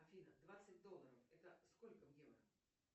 афина двадцать долларов это сколько в евро